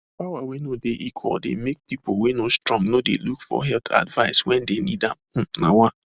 power wey no dey equal dey make people wey no strong no de look for health advice when they need amhmmm nawa